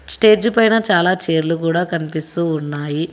Stage పైన చాలా చైర్లు కూడా కనిపిస్తూ ఉన్నాయి.